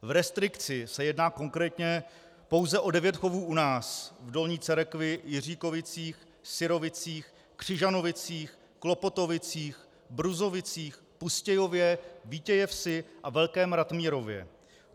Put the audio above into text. V restrikci se jedná konkrétně pouze o devět chovů u nás: v Dolní Cerekvi, Jiříkovicích, Syrovicích, Křižanovicích, Klopotovicích, Bruzovicích, Pustějově, Vítějevsi a Velkém Ratmírově.